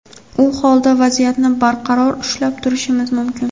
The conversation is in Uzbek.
u holda vaziyatni barqaror ushlab turishimiz mumkin.